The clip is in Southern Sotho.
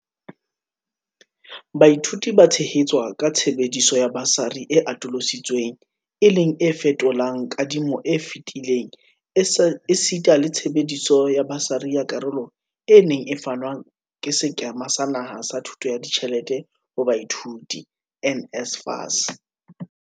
Baithuti ba tshehetswa ka tshebediso ya basari e atolosi tsweng e leng e fetolang kadi mo e fetileng esita le tshebetso ya basari ya karolo e neng e fanwa ke Sekema sa Naha sa Thuso ya Ditjhelete ho Baithuti, NSFAS.